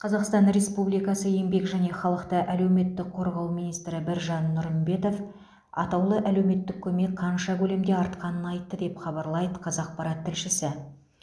қазақстан республикасы еңбек және халықты әлеуметтік қорғау министрі біржан нұрымбетов атаулы әлеуметтік көмек қанша көлемде артқанын айтты деп хабарлайды қазақпарат тілшісі